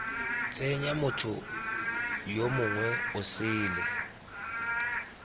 tsenya motho yo mongwe osele